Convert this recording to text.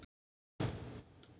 Hvernig getur þú gert það?